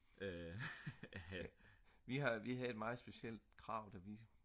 vi har vi havde et meget specielt krav da vi